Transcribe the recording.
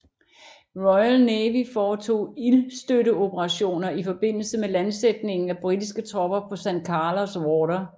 Royal Navy foretog ildstøtteoperationer i forbindelse med landsætningen af britiske tropper på San Carlos Water